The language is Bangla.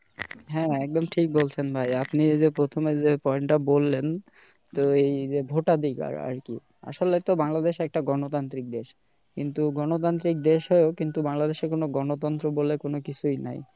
হ্যা একদম ঠিক বলছেন ভাই আপনি এ যে প্রথমে যে point বললেন এই যে vote ধিকার আরকি আসলে তো বাংলাদেশ একটা গণতান্ত্রিক দেশ কিন্তু গণতান্ত্রিক দেশে কিন্তু বাংলাদেশে গনতন্ত্র বলে কিছুই নেই